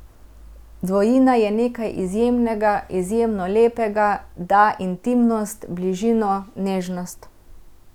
Dvojina je nekaj izjemnega, izjemno lepega, da intimnost, bližino, nežnost.